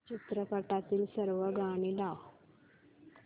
चित्रपटातील सर्व गाणी लाव